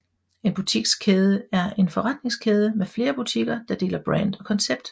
En butikskæde er en forretningskæde med flere butikker der deler brand og koncept